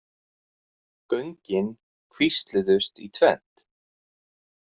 Göngin kvísluðust í tvennt.